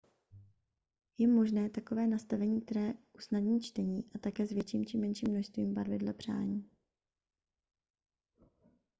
je možné takové nastavení které usnadní čtení a také s větším či menším množství barvy dle přání